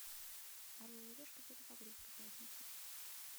орел и решка перезагрузка пятница